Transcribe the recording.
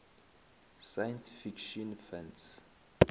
science fiction fans